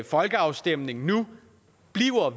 folkeafstemning nu bliver